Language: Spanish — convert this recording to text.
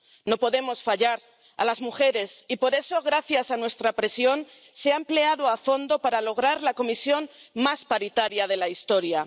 No podemos fallar a las mujeres, y por eso, gracias a nuestra presión, se ha empleado a fondo para lograr la Comisión más paritaria de la historia.